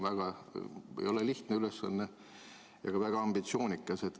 See ei ole lihtne ülesanne ja on ka väga ambitsioonikas.